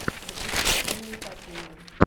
запусти киноэпопею